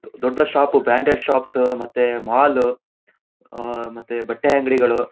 ದೊಡ್ಡ್ ದೊಡ್ದ್ shop branded shops ಮತ್ತೆ ಮಾಲ್ ಆಹ್ಹ್ ಮತ್ತೆ ಬಟ್ಟೆ ಅಂಗಡಿಗಳು--